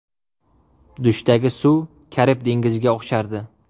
Dushdagi suv Karib dengiziga o‘xshardi.